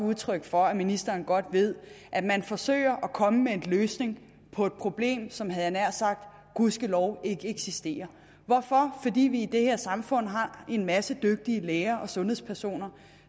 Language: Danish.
udtryk for at ministeren godt ved at man forsøger at komme med en løsning på et problem som havde jeg nær sagt gudskelov ikke eksisterer hvorfor det fordi vi i det her samfund har en masse dygtige læger og sundhedspersoner